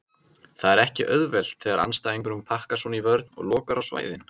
Það er ekki auðvelt þegar andstæðingurinn pakkar svona í vörn og lokar á svæðin.